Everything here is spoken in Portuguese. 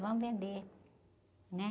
Vamos vender, né?